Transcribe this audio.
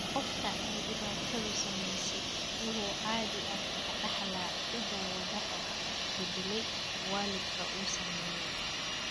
Qofka ay dhibaatadu saameysey wuxuu caadi ahaan ka dhaxlaa hidda-wadaha beddeley waalidka uu saameeyey.